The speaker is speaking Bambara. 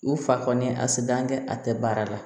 U fa kɔni a sedan kɛ a tɛ baara la